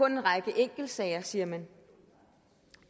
en række enkeltsager siger man